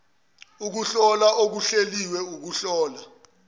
ukuhlola okuhleliwe ukuhlola